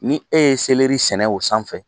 Ni e ye sɛnɛ o sanfɛ